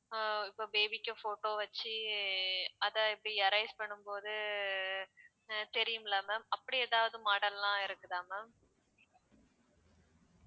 அஹ் இப்போ baby க்கு photo வச்சு அத இப்படி erase பண்ணும் போது அஹ் தெரியும்ல ma'am அப்படி ஏதாவது model லாம் இருக்குதா ma'am